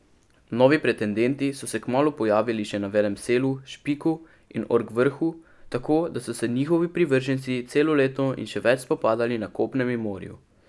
Novi pretendenti so se kmalu pojavili še na Velem selu, Špiku in Orkvrhu, tako da so se njihovi privrženci celo leto in še več spopadali na kopnem in morju.